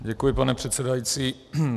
Děkuji, pane předsedající.